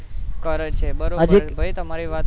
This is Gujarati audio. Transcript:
કરે છે બરોબર છે તમારી વાત